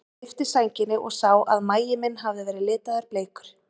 Ég lyfti sænginni og sá að magi minn hafði verið litaður bleikur.